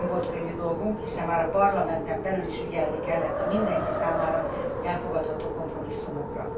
Nem volt könnyű dolgunk, hiszen már a Parlamenten belül is ügyelni kellett a mindenki számára elfogadható kompromisszumokra.